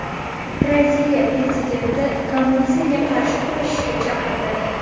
Braziliya prezidenti kommunizmga qarshi kurashishga chaqirdi.